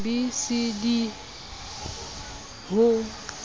b c d e ho